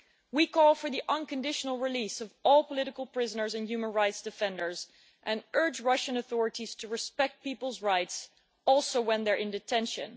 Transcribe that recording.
We call for the unconditional release of all political prisoners and human rights defenders and urge Russian authorities to respect people's rights, including when they're in detention.